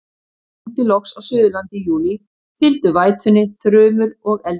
Þegar rigndi loks á Suðurlandi í júlí, fylgdu vætunni þrumur og eldingar.